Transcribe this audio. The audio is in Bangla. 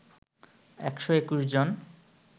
১২১ জন